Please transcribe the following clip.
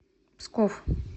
псков